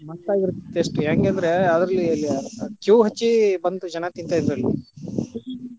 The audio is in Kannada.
ಮತ್ತ ಅದರ taste ಹೆಂಗ ಅಂದ್ರೆ ಅದ್ರಲ್ಲಿ queue ಹಚ್ಚಿ ಬಂದು ಜನಾ ತಿಂತಾ ಇದ್ರು ಅಲ್ಲಿ.